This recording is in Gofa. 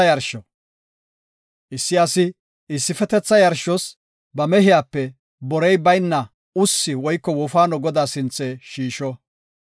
Issi asi issifetetha yarshos ba mehiyape borey bayna ussi woyko wofaano Godaa sinthe shiisho.